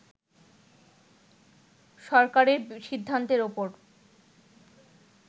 সরকারের সিদ্ধান্তের উপর